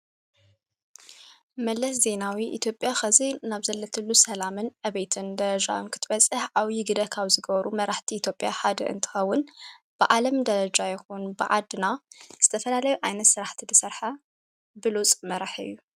መለስ ዜይናዊ ኢቶጴያ ኸዘይ ናብ ዘለትሉ ሰላምን ኣቤትን ደረጃም ክትበጽሕ ኣው ዪግደ ኻብ ዝገበሩ መራህቲ ኢቶጴያ ሓድ እንቲኸውን ብዓለም ደለጃ ይኾኑ ብዓድና ዝተፈላለይ ኣይነት ሠራሕቲ ድሠርሐ ብሉጽ መራሕ እዩ።